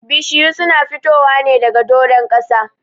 Bishiyu su na fitowa ne doron ƙasa.